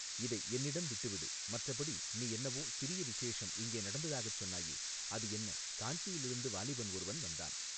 இதை என்னிடம் விட்டுவிடு மற்றபடி நீ என்னவோ சிறிய விசேஷம் இங்கே நடந்ததாகச் சொன்னாயே அது என்ன காஞ்சியிலிருந்து வாலிபன் ஒருவன் வந்தான்.